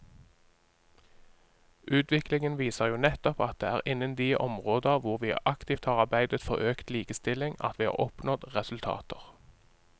Utviklingen viser jo nettopp at det er innen de områder hvor vi aktivt har arbeidet for økt likestilling at vi har oppnådd resultater.